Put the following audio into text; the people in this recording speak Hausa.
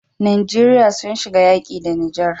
Nigeria sun shiga yaƙi da niger